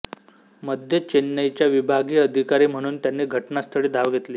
मध्य चेन्नईच्या विभागीय अधिकारी म्हणून त्यांनी घटनास्थळी धाव घेतली